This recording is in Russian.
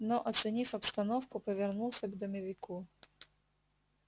но оценив обстановку повернулся к домовику